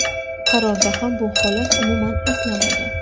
Qarorda ham bu holat umuman eslanmagan.